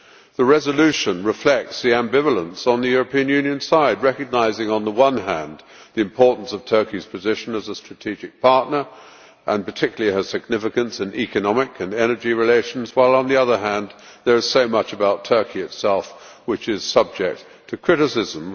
The resolution reflects the ambivalence on the European Union side, recognising on the one hand the importance of Turkey's position as a strategic partner, and particularly its significance in economic and energy relations, while on the other hand there is so much about Turkey itself which is subject to criticism.